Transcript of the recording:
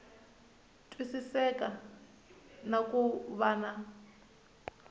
twisiseka na ku va na